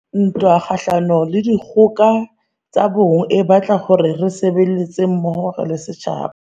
Ntwa kgahlano le dikgoka tsa bong e batla hore re sebetse mmoho re le setjhaba.